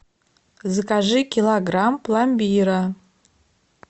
закажи килограмм пломбира